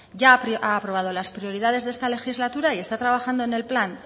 ya ha aprobado las prioridades de esta legislatura y está trabajado en el plan